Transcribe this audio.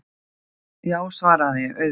Já, svaraði ég, auðvitað.